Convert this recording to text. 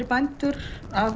bændur að